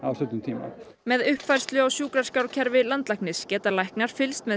stuttum tíma með uppfærslu á sjúkraskrárkerfi landlæknis geta læknar fylgst með